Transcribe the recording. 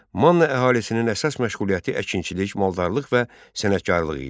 Manna əhalisinin əsas məşğuliyyəti əkinçilik, maldarlıq və sənətkarlıq idi.